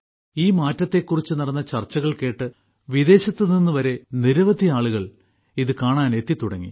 ഈ മാറ്റത്തെക്കുറിച്ച് നടന്ന ചർച്ചകൾ കേട്ട് വിദേശത്ത് നിന്നുവരെ നിരവധി ആളുകൾ ഇത് കാണാൻ എത്തിത്തുടങ്ങി